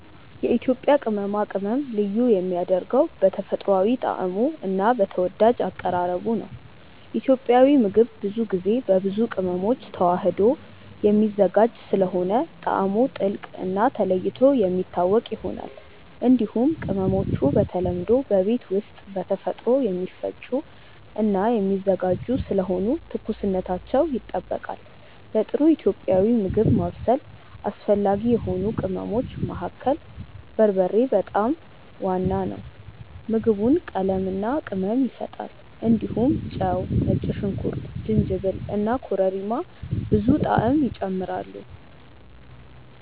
የኢትዮጵያ ቅመማ ቅመም ልዩ የሚያደርገው በተፈጥሯዊ ጣዕሙ እና በተወዳጅ አቀራረቡ ነው። ኢትዮጵያዊ ምግብ ብዙ ጊዜ በብዙ ቅመሞች ተዋህዶ የሚዘጋጅ ስለሆነ ጣዕሙ ጥልቅ እና ተለይቶ የሚታወቅ ይሆናል። እንዲሁም ቅመሞቹ በተለምዶ በቤት ውስጥ በተፈጥሮ የሚፈጩ እና የሚዘጋጁ ስለሆኑ ትኩስነታቸው ይጠበቃል። ለጥሩ ኢትዮጵያዊ ምግብ ማብሰል አስፈላጊ የሆኑ ቅመሞች መካከል በርበሬ በጣም ዋና ነው። ምግቡን ቀለምና ቅመም ይሰጣል። እንዲሁም ጨው፣ ነጭ ሽንኩርት፣ ጅንጅብል እና ኮረሪማ ብዙ ጣዕም ይጨምራሉ።